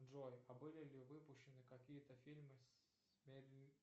джой а были ли выпущены какие то фильмы с